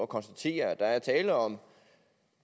konstatere at der er tale om